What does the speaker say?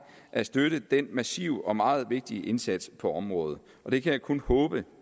at støtte den massive og meget vigtige indsats på området og det kan jeg kun håbe